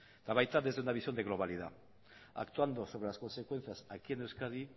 eta baita desde una visión de globalidad actuando sobre las consecuencias aquí en euskadi